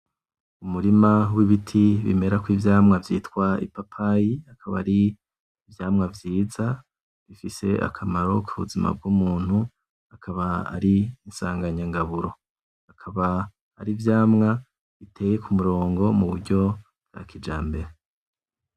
Umurima wibiti bimerako ivyamwa vyitwa ipapayi, akaba ari ivyamwa vyiza, bifise akamaro kubuzima bw'umuntu, akaba ari isanganyangaburo. Akaba arivyamwa biteye kumurongo muburyo bwakijambere.